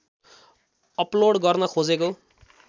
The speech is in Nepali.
अपलोड गर्न खोजेको